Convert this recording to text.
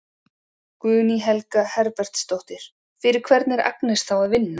Guðný Helga Herbertsdóttir: Fyrir hvern er Agnes þá að vinna?